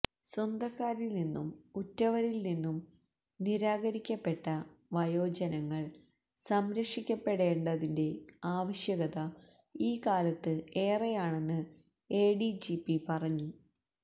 സ്വന്തക്കാരില് നിന്നും ഉറ്റവരില് നിന്നും നിരാകരിക്കപ്പെട്ട വയോജനങ്ങള് സംരക്ഷിപ്പെടേണ്ടതിന്റെ ആവശ്യകത ഈ കാലത്ത് ഏറെയാണെന്ന് എഡിജിപി പറഞ്ഞു